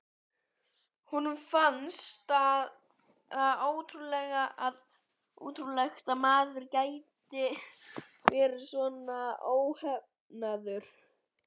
Honum fannst það ótrúlegt að maður gæti verið svona óheflaður.